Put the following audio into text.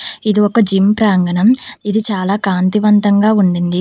ఇది ఒక జిమ్ ప్రాంగణం. ఇది చాలా కాంతివంతంగా ఉండింది.